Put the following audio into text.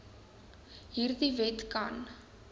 hierdie wet kan